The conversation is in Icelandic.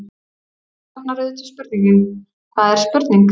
Þá vaknar auðvitað spurningin: hvað er spurning?.